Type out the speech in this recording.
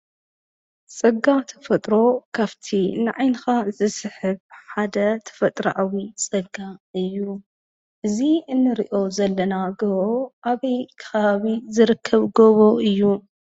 እዚ ኣብ ሰሜን ኢትዮጵያ ኣብ ትግራይ ዝርከብ ኣኽራናት ኣኻውሕ ዝበዝሖ ገደል እንትከውን፣ እቲ ከባቢ ብድራማዊ ቀይሕ ሑጻዊ ገደልን ከም ኣቡና የማታ ጉህን ማርያም ኮርኮርን ዝኣመሰሉ ጥንታውያን ብከውሒ ዝተቖርጹ ኣብያተ ክርስቲያናት ዝፍለጥ እዩ።